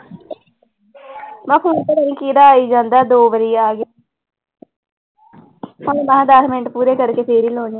ਮੈਂ phone ਪਤਾ ਨੀ ਕਿਹਦਾ ਆਈ ਜਾਂਦਾ ਦੋ ਵਾਰੀ ਆ ਗਿਆ ਹਾਲੇ ਮੈਂ ਦਸ ਮਿੰਟ ਪੂਰੇ ਕਰਕੇ ਫਿਰ ਹੀ ਲਾਉਨੀ।